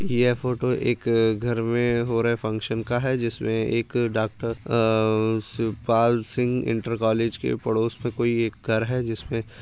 यह फोटो एक घर में हो रहे फंक्शन का है जिसमे एक डाक्टर अ शिवपाल सिंह इंटर कॉलेज के पड़ोस में कोई एक घर है जिसमे --